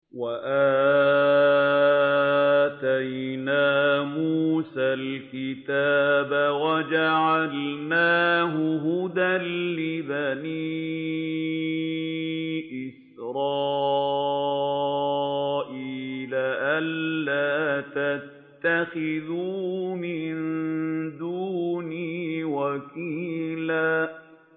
وَآتَيْنَا مُوسَى الْكِتَابَ وَجَعَلْنَاهُ هُدًى لِّبَنِي إِسْرَائِيلَ أَلَّا تَتَّخِذُوا مِن دُونِي وَكِيلًا